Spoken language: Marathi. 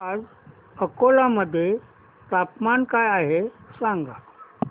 आज अकोला मध्ये तापमान काय आहे सांगा